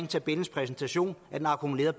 tabellens præsentation af den akkumulerede